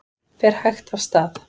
Fer hægt af stað